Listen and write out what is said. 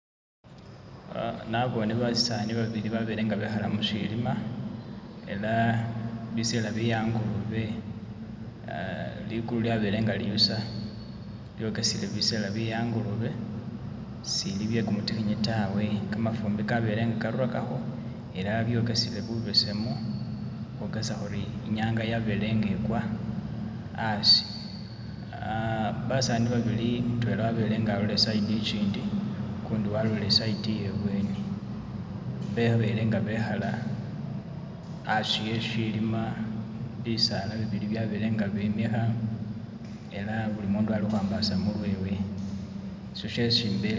Uh naboone basani babili babele nga bekhala musilima ela bisela bye angolobe uh ligulu lyabele nga liyusa lyokesele biseela bye angolobe sili bye kumutikhini taawe, kamafumbi kabeke nga karurakakho ela byokesele bubesemu ukhwokesa khuri inyanga yabele nga ikwa asi uh basani babili mutwela wabele nga alola i side ikindi ukundi alola i side iye bweni, babele nga bekhale asi we shisilima, bisaala bibili byabele nga bimikha ela bulumundu ali khukhwambasa khulwewe, isho shesi mbele nabone